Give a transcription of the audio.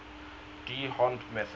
d hondt method